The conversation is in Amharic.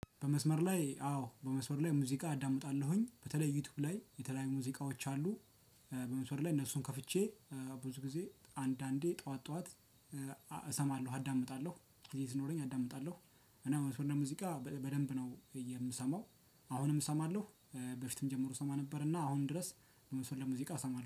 በመስመር ላይ አዎ በመስመር ላይ ሙዚቃ አዳምጣለሁኝ በተለይ ዩቲዩብ ላይ የተለያዩ ሙዚቃዎች አሉ። በመስመር ላይ እነሱን ከፍቼ ብዙ ጊዜ አንዳንዴ ጠዋት ጠዋት። እሰማለሁ አዳምጣለሁ ጊዜ ሲኖረኝ አዳምጣለሁ። እና መስመር ሙዚቃ በደንብ ነው የምሰማው። አሁንም እሰማለሁ። በፊትም ጀምሮ እሰማ ነበርና አሁን ድረስ ስለሙዚቃ እሰማለሁ